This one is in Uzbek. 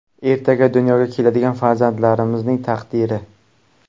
Ertaga dunyoga keladigan farzandlaringizning taqdiri.